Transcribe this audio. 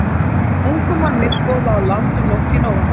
Ungum manni skolaði á land um nótt í nóvember.